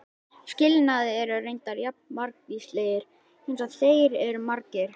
Skilnaðir eru reyndar jafn margvíslegir eins og þeir eru margir.